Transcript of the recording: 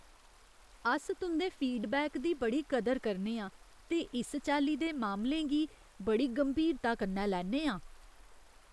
अस तुं'दे फीडबैक दी बड़ी कदर करने आं ते इस चाल्ली दे मामलें गी बड़ी गंभीरता कन्नै लैन्ने आं।